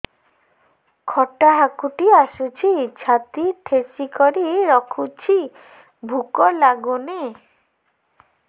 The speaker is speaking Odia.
ଖଟା ହାକୁଟି ଆସୁଛି ଛାତି ଠେସିକରି ରଖୁଛି ଭୁକ ଲାଗୁନି